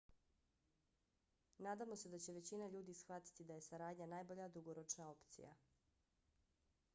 nadamo se da će većina ljudi shvatiti da je saradnja najbolja dugoročna opcija